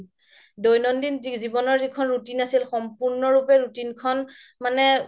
দৈনন্দিন জীৱনৰ যিখন routine আছিল সম্পুৰ্ন ৰুপে routine খন মানে